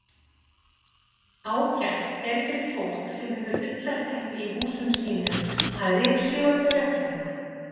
Ágætt er fyrir fólk sem hefur ullarteppi í húsum sínum að ryksjúga þau reglulega.